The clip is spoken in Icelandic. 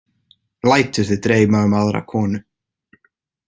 Lætur þig dreyma um aðra konu!